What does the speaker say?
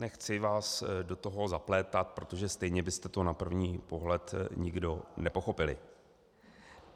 Nechci vás do toho zaplétat, protože stejně byste to na první pohled nikdo nepochopili.